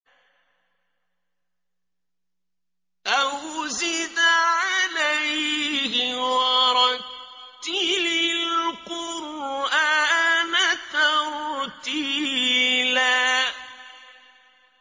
أَوْ زِدْ عَلَيْهِ وَرَتِّلِ الْقُرْآنَ تَرْتِيلًا